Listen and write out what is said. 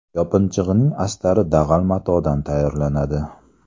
Yopinchiqning astari dag‘al matodan tayyorlanadi.